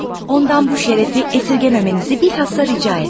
Ondan bu şərəfi əsirgəməmənizi bilxassa rica etdi.